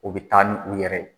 U bɛ taa ni u yɛrɛ